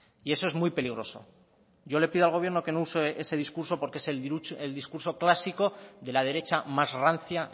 y eso es muy peligroso yo le pido al gobierno que no use ese discurso porque es el discurso clásico de la derecha más rancia